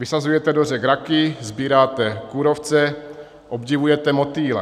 Vysazujete do řek raky, sbíráte kůrovce, obdivujete motýle.